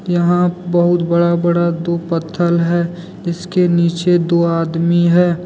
यहां बहुत बड़ा बड़ा दो पत्थल है जिसके नीचे दो आदमी हैं।